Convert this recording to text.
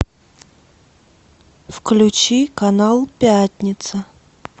включи канал пятница